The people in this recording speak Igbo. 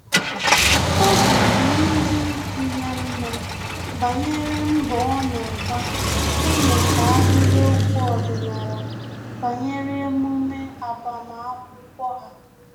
Óbì dị ndị ikwu ya mma banyere mbọ ọ na-agba ịmụta ahịrịokwu ọdịnala banyere emume agbamakwụkwọ ha